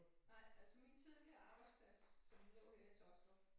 Nej altså min tidligere arbejdsplads som lå her i Taastrup